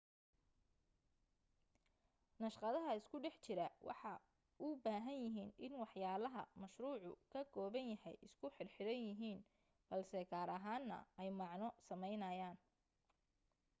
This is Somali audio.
naqshadaha isku dhex jira waxay u baahan yihiin in waxyaalaha mashruucu ka kooban yahay isku xirxiran yihiin balse gaar ahaana ay macno sameynayaan